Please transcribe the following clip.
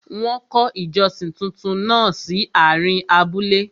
Wọ́n kọ́ ìjọsìn túntún náà sí àárín abúlé.